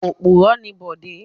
Òpùrọ́ ni Bọ̀dé.